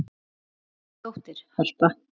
Þín dóttir, Harpa.